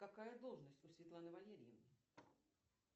какая должность у светланы валерьевны